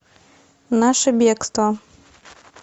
наше бегство